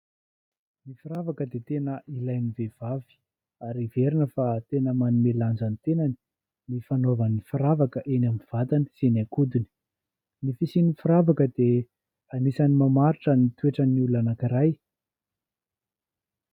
Ny firavaka dia tena ilainy vehivavy ary heverina fa tena manome lanja ny tenany ny fanaovana ny firavaka eny amin'ny vatany sy ny ankodiny, ny fisian'ny firavaka dia anisan'ny mamaritra ny toetrany olona anankiray.